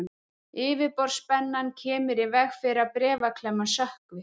Yfirborðsspennan kemur í veg fyrir að bréfaklemman sökkvi.